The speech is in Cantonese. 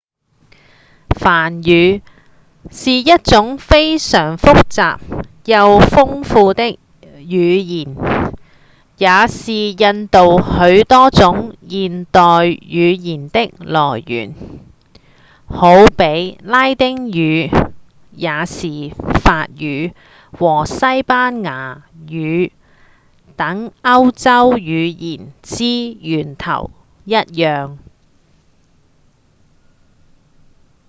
梵語是一種非常複雜又豐富的語言也是印度許多種現代語言的來源好比拉丁語也是法語和西班牙語等歐洲語言之源頭一樣